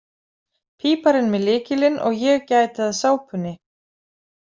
Píparinn með lykilinn og ég gæti að sápunni.